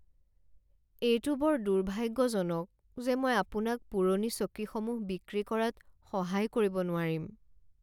এইটো বৰ দুৰ্ভাগ্যজনক যে মই আপোনাক পুৰণি চকীসমূহ বিক্ৰী কৰাত সহায় কৰিব নোৱাৰিম।